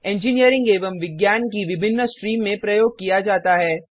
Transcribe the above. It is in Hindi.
इंजीनियरिंग एवं विज्ञान की विभिन्न स्ट्रीम में प्रयोग किया जाता है